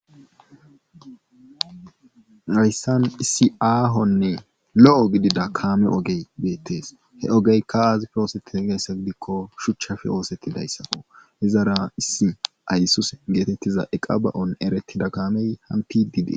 Hayssan issi aahonne lo7o gidida kaame ogey beettees he ogeykka aazippe oosettide gizayassa gidikko shuchafe oosettidyzasako izara issi aysuuze geeteettiza iqa ba7on erettida kaamey hamppidi dee.